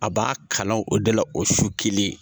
A b'a kalan o de la o su kelen.